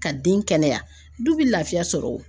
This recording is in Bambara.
Ka den kɛnɛya du bɛ laafiya sɔrɔ o.